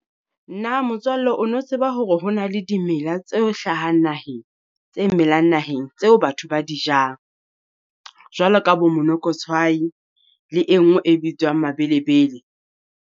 Na motswalle o no tseba hore ho na le dimela tse hlahang naheng tse melang naheng tseo batho ba di jang? Jwalo ka bo monokotshwai le e nngwe e bitswang Mabelebele.